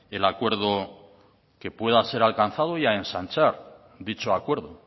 el acuerdo que pueda ser alcanzado y a ensanchar dicho acuerdo